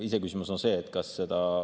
Iseküsimus on see, kas seda …